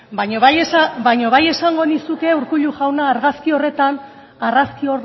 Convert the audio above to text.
berbotsa baina bai esango nizuke urkullu jauna